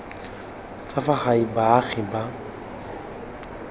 tsa fa gae baagi ba